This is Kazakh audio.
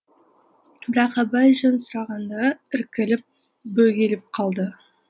бірақ абай жөн сұрағанда іркіліп бөгеліп қалды